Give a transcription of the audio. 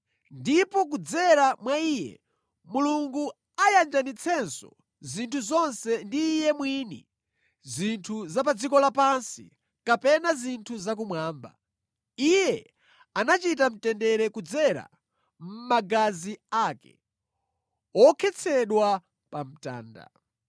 Ndipo kudzera mwa Iye Mulungu ayanjanitsenso zinthu zonse ndi Iye mwini, zinthu za pa dziko lapansi, kapena zinthu za kumwamba. Iye anachita mtendere kudzera mʼmagazi ake, wokhetsedwa pa mtanda.